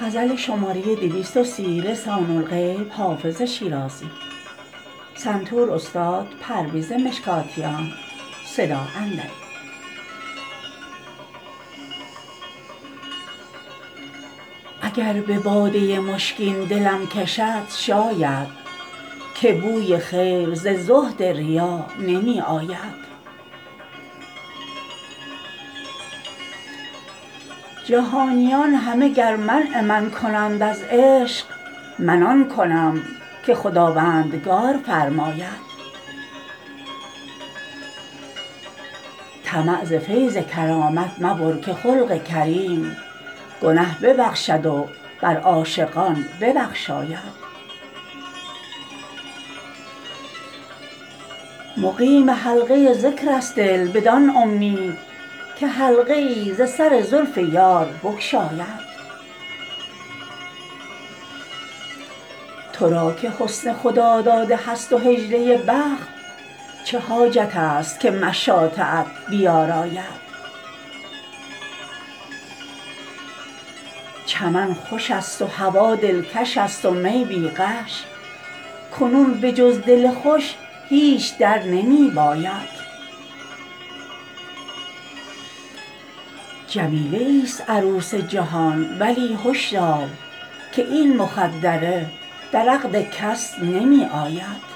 اگر به باده مشکین دلم کشد شاید که بوی خیر ز زهد ریا نمی آید جهانیان همه گر منع من کنند از عشق من آن کنم که خداوندگار فرماید طمع ز فیض کرامت مبر که خلق کریم گنه ببخشد و بر عاشقان ببخشاید مقیم حلقه ذکر است دل بدان امید که حلقه ای ز سر زلف یار بگشاید تو را که حسن خداداده هست و حجله بخت چه حاجت است که مشاطه ات بیاراید چمن خوش است و هوا دلکش است و می بی غش کنون به جز دل خوش هیچ در نمی باید جمیله ایست عروس جهان ولی هش دار که این مخدره در عقد کس نمی آید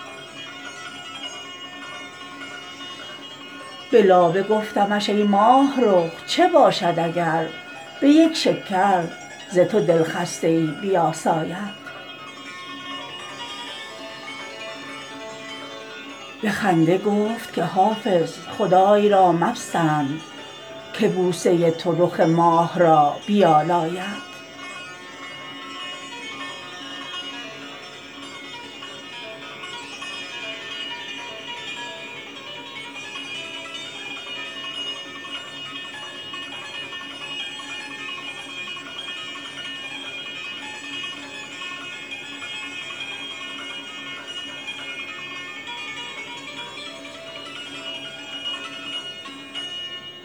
به لابه گفتمش ای ماهرخ چه باشد اگر به یک شکر ز تو دلخسته ای بیاساید به خنده گفت که حافظ خدای را مپسند که بوسه تو رخ ماه را بیالاید